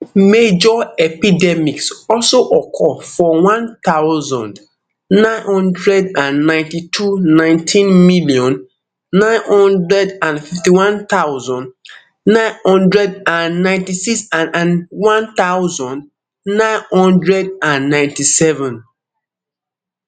major epidemics also occur for one thousand, nine hundred and ninety-two nineteen million, nine hundred and fifty-one thousand, nine hundred and ninety-six and and one thousand, nine hundred and ninety-seven